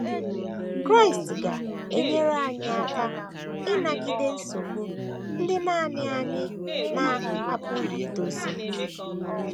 Kraịst ga - enyere anyị aka ịnagide nsogbu ndị nanị anyị na - apụghị idozi